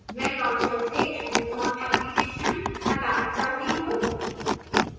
मैं launcher से amazon application हटाना चाहता हूँ